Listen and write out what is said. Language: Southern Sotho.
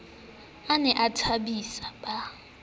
a ne a thobise ba